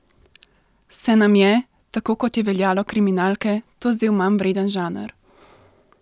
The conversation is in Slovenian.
Se nam je, tako kot je veljalo kriminalke, to zdel manj vreden žanr?